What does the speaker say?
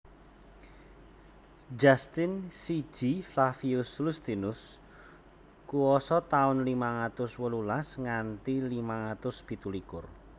Justin siji Flavius Iustinus kuwasa taun limang atus wolulas nganti limang atus pitu likur